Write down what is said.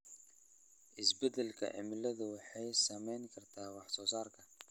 Isbeddelka cimiladu waxay saameyn kartaa wax soo saarka.